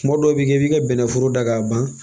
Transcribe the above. Kuma dɔw bi kɛ i bi ka bɛnnɛforo da k'a ban